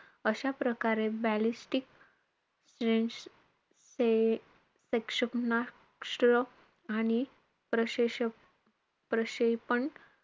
अशा प्रकारे ballistic क्षे~ क्षे~ क्षे~ क्षेक्षणास्त्र आणि प्रशेषक~ प्रशेपण,